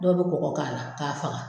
Dɔw bɛ kɔgɔ k'a la k'a faga.